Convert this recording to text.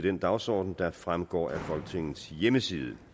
den dagsorden der fremgår af folketingets hjemmeside